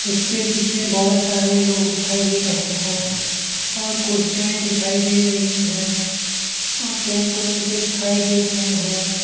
इसके पीछे बहोत सारे लोग दिखाई दे रहे हैं और कुर्सियांये दिखाई दे रही हैं और टेंट ओन दिखाई दे रहे हैं।